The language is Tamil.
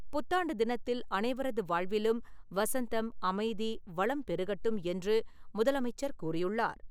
புத்தாண்டு தினத்தில், அனைவரது வாழ்விலும் வசந்தம், அமைதி, வளம் பெருகட்டும் என்று முதலமைச்சர் கூறியுள்ளார்.